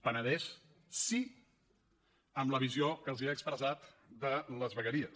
penedès sí amb la visió que els he expressat de les vegueries